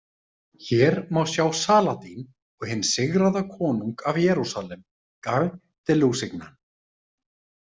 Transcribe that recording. Hér má sjá Saladín og hinn sigraða konung af Jerúsalem, Guy de Lusignan.